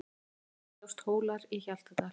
Á myndinni sjást Hólar í Hjaltadal.